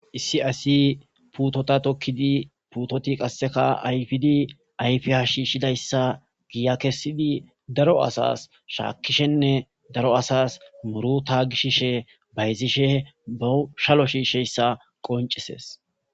Issi asi putota tokidi putoti qaseka ayfidi ayfiya shishidaysa giya kesidi daro asas shakishenne daro asas muruta gishishe bayzishe bawu shalo shishiyaysa qonc'ises.